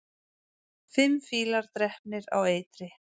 Fimm fílar drepnir á eitri